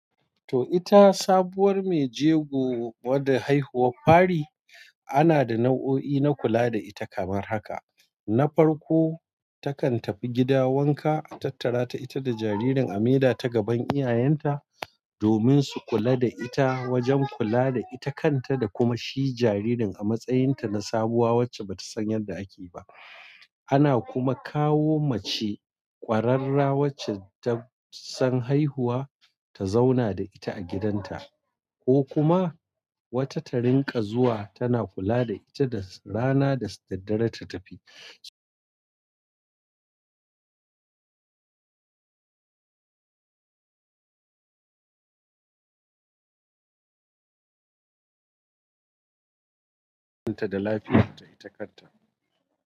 Toh ita sabuwar mai jego wadda haihuwar fari ana da nau'o'i na kula da ita kamar haka. Na farko takan tafi gida wanka, a tattara ta ita da jaririn a mida ta gaban iyayenta domin su kula da ita wajen kula da ita kanta da kuma shi jaririn a matsayin ta na sabuwa wacce bata san yanda ake yi ba ana kuma kawo mace kwararra wacce tasan haihuwa ta zauna da ita a gidanta ko kuma wata ta rinƙa zuwa tana kula da ita rana da daddare ta tafi. Ta da lafiyan ta ita kanta.